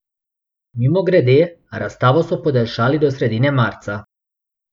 Mimogrede, razstavo so podaljšali do sredine marca.